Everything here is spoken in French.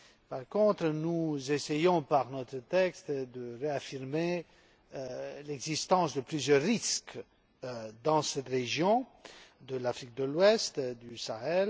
Par contre, nous essayons, par notre texte, de réaffirmer l'existence de plusieurs risques dans cette région de l'Afrique de l'Ouest et du Sahel.